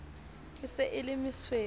e se e le mesuwe